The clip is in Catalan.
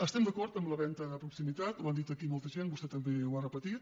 estem d’acord en la venda de proximitat ho han dit aquí molta gent vostè també ho ha repetit